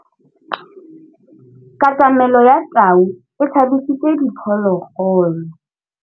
Katamêlô ya tau e tshabisitse diphôlôgôlô.